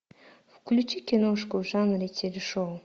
включи киношку в жанре телешоу